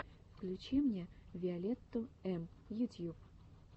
включи мне виолетту эм ютьюб